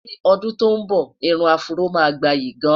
ní ọdún tó nbọ, irún afro má gbayì gaan